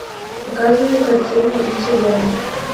показывай картину инцидент